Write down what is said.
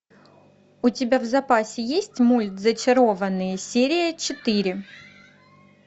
у тебя в запасе есть мульт зачарованные серия четыре